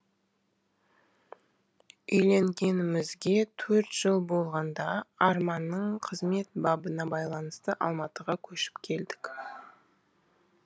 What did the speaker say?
үйленгенімізге төрт жыл болғанда арманның қызмет бабына байланысты алматыға көшіп келдік